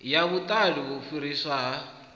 ya vhuṱali u fhiriswa ha